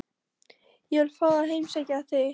Ég vil fá að heimsækja þig.